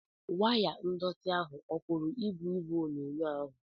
Waya ndọtị ahụ ọ puru ibu igwe onyonyo ahụ?